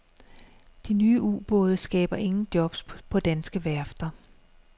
De nye ubåde skaber ingen jobs på danske værfter.